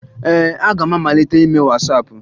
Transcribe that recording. Ee, aga m amalite ime Wasaapụ